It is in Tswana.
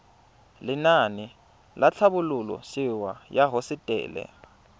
lenaane la tlhabololosewa ya hosetele